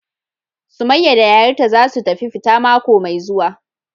Summaiya da yayarta zasu tafi fita mako Mai zue.wa,.